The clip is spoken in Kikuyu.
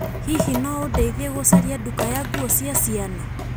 Hihi no ũndeithie gũcaria nduka ya nguo cia ciana?